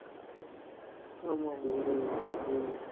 ஆமா உம் உம்